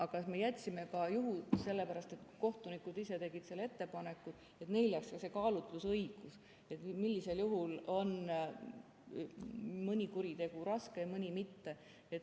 Aga me jätsime nii ka sellepärast, kohtunikud ise tegid selle ettepaneku, et neile jääks ka see kaalutlusõigus, millisel juhul on mõni kuritegu raske ja mõni mitte.